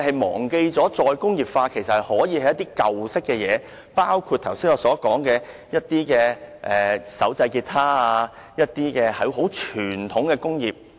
其實，"再工業化"所關乎的可以是一些舊式的東西，包括我剛才所說的手製結他和傳統工業。